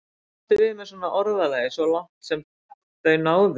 Hvað áttu við með svona orðalagi: svo langt sem þau náðu?